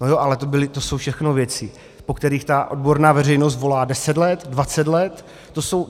No jo, ale to jsou všechno věci, po kterých ta odborná veřejnost volá deset let, dvacet let.